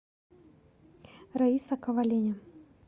раиса коваленя